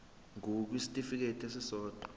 ngur kwisitifikedi esisodwa